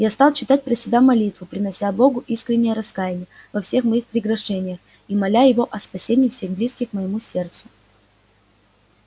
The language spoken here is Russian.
я стал читать про себя молитву принося богу искреннее раскаяние во всех моих прегрешениях и моля его о спасении всех близких моему сердцу